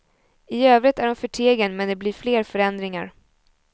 I övrigt är hon förtegen, men det blir fler förändringar.